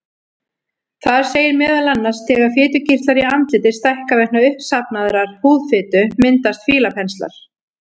Þar segir meðal annars: Þegar fitukirtlar í andliti stækka vegna uppsafnaðrar húðfitu myndast fílapenslar.